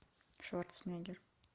шварценеггер